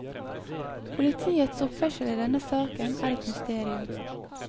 Politiets oppførsel i denne saken er et mysterium.